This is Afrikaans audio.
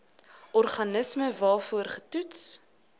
organisme waarvoor getoets